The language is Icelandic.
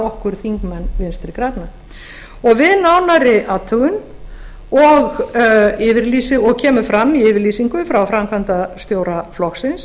okkur þingmenn vinstri grænna við nánari athugun og kemur fram í yfirlýsingu frá framkvæmdastjóra flokksins